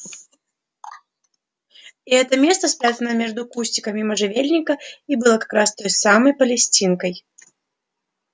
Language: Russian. и это место спрятанное между кустиками можжевельника и было как раз той самой палестинкой